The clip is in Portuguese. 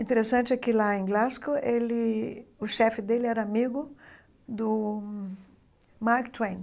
Interessante é que, lá em Glasgow, ele o chefe dele era amigo do Mark Twain.